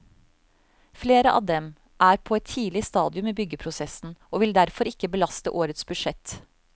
Flere av dem er på et tidlig stadium i byggeprosessen og vil derfor ikke belaste årets budsjett.